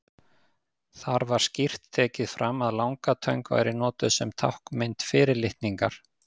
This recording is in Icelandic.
Þar var skýrt tekið fram að langatöng væri notuð sem táknmynd fyrirlitningar.